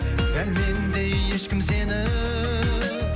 дәл мендей ешкім сені